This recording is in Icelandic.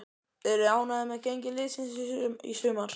Eruð þið ánægðir með gengi liðsins í sumar?